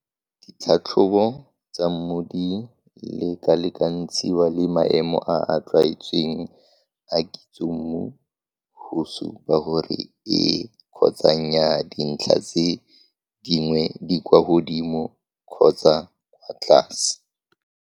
Ditlhatlhobo tsa mmu di lekalekantshiwa le maemo a a tlwaetsweng a kitsommu go supa gore ee kgotsa nnyaa dintlha tse dingwe di kwa godimo kgotsa kwa tlase.